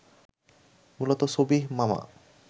মূলত সবিহ মামা